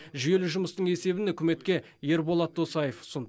жүйелі жұмыстың есебін үкіметке ерболат досаев ұсынды